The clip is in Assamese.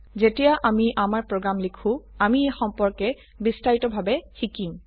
যেতিয়া আমি আমাৰ প্ৰোগ্ৰাম লিখো আমি এই সম্পৰ্কে বিস্তাৰিতভাবে শিকিম